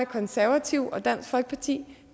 konservative og dansk folkeparti